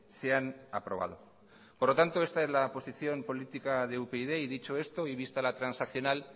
se han aprobado por lo tanto esta es la posición política de upyd dicho esto y vista la transaccional